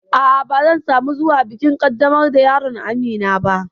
A'a, ba zan samu zuwa bikin ƙaddamar da yaron Amina ba